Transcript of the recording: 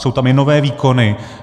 Jsou tam i nové výkony.